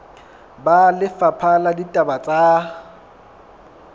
ba lefapha la ditaba tsa